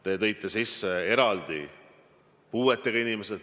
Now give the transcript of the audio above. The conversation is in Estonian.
Te tõite eraldi sisse puuetega inimesed.